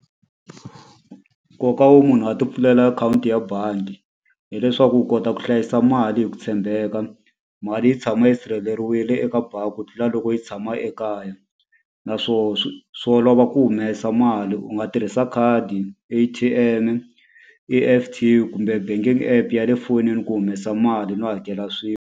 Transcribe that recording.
Nkoka wo munhu a ti pfulela akhawunti ya bangi hileswaku u kota ku hlayisa mali hi ku tshembeka. Mali yi tshama yi sirheleriwile eka bangi ku tlula loko yi tshama ekaya. Naswona swi olova ku humesa mali u nga tirhisa khadi, A_T_M-e, E_F_T kumbe banking app ya le fonini ku humesa mali no hakela .